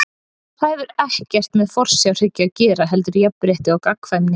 Það hefur ekkert með forsjárhyggju að gera heldur jafnrétti og gagnkvæmni.